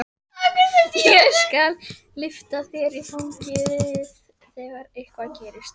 Ég skal lyfta þér í fangið þegar eitthvað gerist.